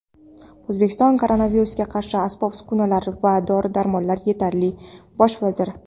O‘zbekistonda koronavirusga qarshi asbob-uskunalar va dori-darmonlar yetarli – Bosh vazir.